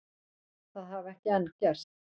Það hafi ekki enn gerst